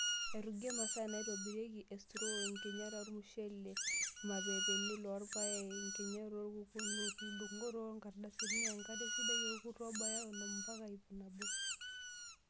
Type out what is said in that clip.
Airugie masaa naitobirieki:Estraw, nkinyat ormushele, irmapepeni loorpaek, nkinyat orkokonut, ndung'ot oo nkardasini, enkare sidai orkurt obaya onom mpaka iip nabo.